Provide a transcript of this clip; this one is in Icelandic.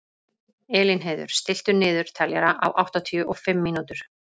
Elínheiður, stilltu niðurteljara á áttatíu og fimm mínútur.